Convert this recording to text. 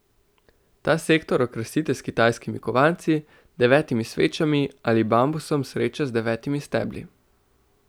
Ta sektor okrasite s kitajskimi kovanci, devetimi svečami ali bambusom sreče z devetimi stebli.